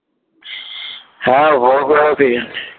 হ্যাঁ